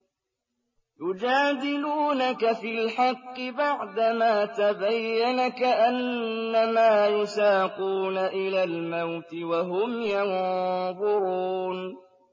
يُجَادِلُونَكَ فِي الْحَقِّ بَعْدَمَا تَبَيَّنَ كَأَنَّمَا يُسَاقُونَ إِلَى الْمَوْتِ وَهُمْ يَنظُرُونَ